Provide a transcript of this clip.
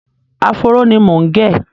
Áfóró ni mò ń gẹ̀.